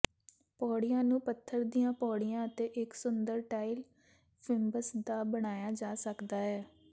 ਪੌੜੀਆਂ ਨੂੰ ਪੱਥਰ ਦੀਆਂ ਪੌੜੀਆਂ ਅਤੇ ਇੱਕ ਸੁੰਦਰ ਟਾਇਲ ਫਿੰਬਸ ਦਾ ਬਣਾਇਆ ਜਾ ਸਕਦਾ ਹੈ